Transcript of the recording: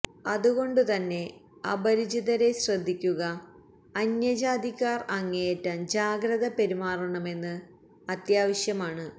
അതുകൊണ്ട് തന്നെ അപരിചിതരെ ശ്രദ്ധിക്കുക അന്യജാതിക്കാർ അങ്ങേയറ്റം ജാഗ്രത പെരുമാറണമെന്ന് അത്യാവശ്യമാണ്